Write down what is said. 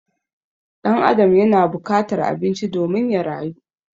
Ɗan Adam yana bukatar abinci domin ya rayu